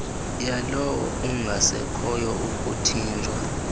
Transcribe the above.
yalowo ungasekhoyo ukuthinjwa